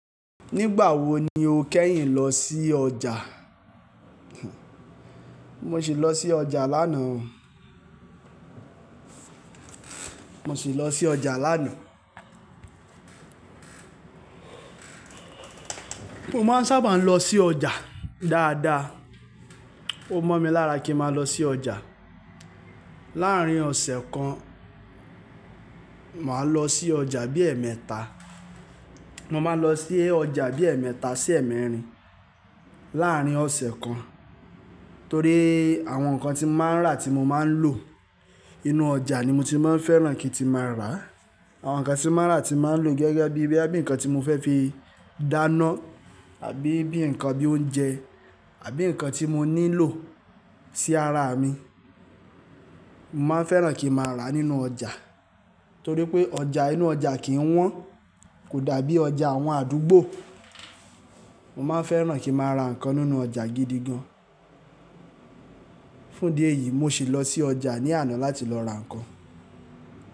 Nígbà wo ni o kẹ́yìn lọ sí ọjà? Mo sì lọ sí ọjà lánàá. Mo sì lọ sí ọjà lánàá. Mo máa ń sábà lọ sí ọjà dáadáa. Ó mọ́ mi lára kí ń máa lọ sí ọjà. Láàárín ọ̀sẹ̀ kan, màá lọ sí ọjà bí ẹẹ́mẹ́ta. Mo máa lọ sí ọjà bí ẹẹ́mẹ́ta sí ẹ̀ẹ́mẹ́rin láàárín ọ̀sẹ̀ kan. Torí àwọn nǹkan tí mo máa ń rà tí mo máa ń lò, inú ọjà ni mo ti máa ń fẹ́ràn kí n ti máa rà á. Àwọn nǹkan tí mo máa ń rà tí máa ń lò gẹ́gẹ́ bí i bí nkan tí mo fẹ́ fi dáná àbí bí nǹkan bí oúnjẹ àbí nǹkan tí mo nílò sí ara mi. Mo máa ń fẹ́ràn kí ń máa rà á nínú ọjà. Torí pé ọjà inú ọjà kì ń wọ́n, kò dàbí ọjà àwọn àdúgbò. Mo máa ń fẹ́ràn kí ń máa ra nǹkan nínú ọjà gidi gan. Fún dí ẹ̀yìí, mo sì lọ sí ọjà ní àná láti lọ ra nǹkan.